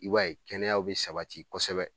I b'a ye kɛnɛyaw bɛ sabati kɔsɛbɛ